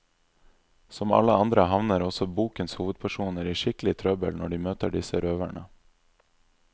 Som alle andre havner også bokens hovedpersoner i skikkelig trøbbel når de møter disse røverne.